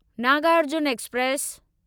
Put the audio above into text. Nagarjuna express